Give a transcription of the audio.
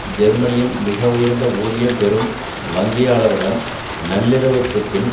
ஜெர்மனியின் மிக உயர்ந்த ஊதியம் பெறும் வங்கியாளர் உடன் நள்ளிரவிற்குப் பின்